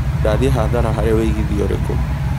ndathĩi hathara harĩ wĩĩgĩthĩa ũrikũ